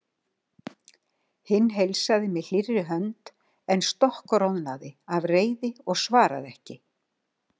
Hinn heilsaði með hlýrri hönd en stokkroðnaði af reiði og svaraði ekki.